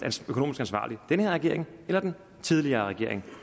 økonomisk ansvarlig den her regering eller den tidligere regering